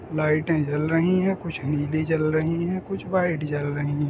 लाइटें जल रहीं हैं। कुछ नीली जल रहीं हैं कुछ व्हाइट जल रहीं हैं।